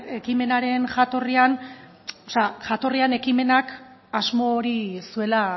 ekimenaren jatorrian o sea jatorrian ekimenak asmo hori zuela